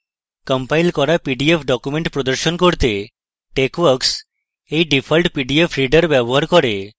compiled করা PDF documents প্রদর্শন করতে texworks এই ডিফল্ট পিডিএফ reader ব্যবহার করে